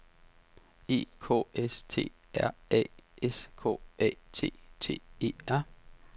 E K S T R A S K A T T E R